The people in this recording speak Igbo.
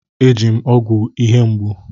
E ji m ọgwụ ihe mgbu.